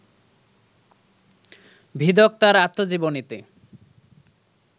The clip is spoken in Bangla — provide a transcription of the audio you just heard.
ভিদক তাঁর আত্মজীবনীতে